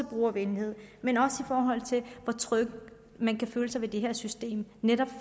og brugervenlighed men også i forhold til hvor tryg man kan føle sig ved det her system netop